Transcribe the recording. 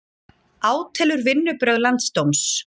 Átelur vinnubrögð landsdóms